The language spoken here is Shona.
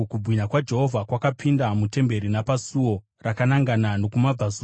Kubwinya kwaJehovha kwakapinda mutemberi napasuo rakanangana nokumabvazuva.